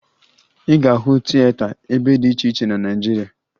Ị ga-ahụ tieta ebe dị iche iche na Naịjirịa